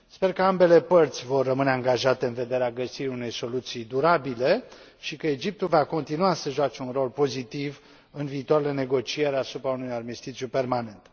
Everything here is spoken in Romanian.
Sper că ambele părți vor rămâne angajate în vederea găsirii unei soluții durabile și că Egiptul va continua să joace un rol pozitiv în viitoarele negocieri asupra unui armistițiu permanent.